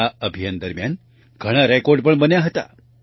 આ અભિયાન દરમિયાન ઘણા રેકોર્ડ પણ બન્યા હતા